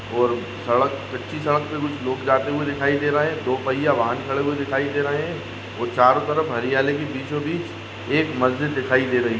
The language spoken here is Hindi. और सड़क पे कच्ची सड़क पे कुछ लोग जाते हुए दिखाई दे रहे है दो पैया वाहन खड़े हुए दिखाई दे रहे और चारो तरफ हरियाली के बिछो-बिछ एक मस्जिद दिखाई दे रही है।